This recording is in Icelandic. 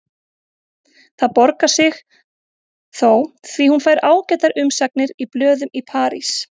Það borgar sig þó því hún fær ágætar umsagnir í blöðum í París.